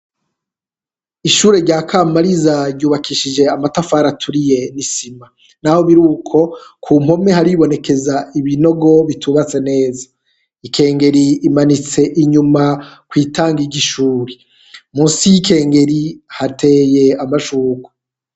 Ishure rya Kamariza ryubakishije amatafari aturiye n'isima, naho biruko ku mpome haribonekeza ibinogo bitubatse neza, ikengeri imanitse inyuma kw'itangi ry'ishuri, musi y'ikengeri hateye amashurwe.